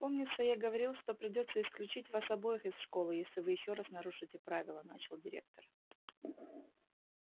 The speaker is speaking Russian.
помнится я говорил что придётся исключить вас обоих из школы если вы ещё раз нарушите правила начал директор